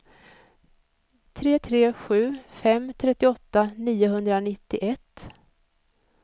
tre tre sju fem trettioåtta niohundranittioett